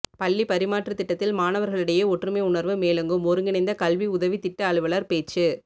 பள்ளி பரிமாற்றுத் திட்டத்தில் மாணவா்களிடையே ஒற்றுமை உணா்வு மேலோங்கும் ஒருங்கிணைந்த கல்வி உதவி திட்ட அலுவலா் பேச்சு